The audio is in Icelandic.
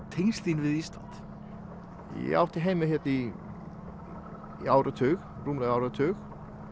tengsl þín við Ísland ég átti heima hérna í í áratug rúmlega áratug